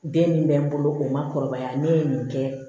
Den min bɛ n bolo o ma kɔrɔbaya ne ye nin kɛ